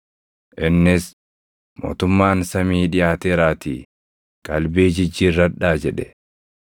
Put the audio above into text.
innis, “Mootummaan samii dhiʼaateeraatii qalbii jijjiirradhaa” jedhe.